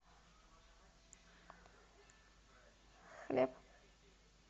хлеб